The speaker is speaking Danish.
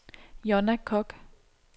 Jonna Kock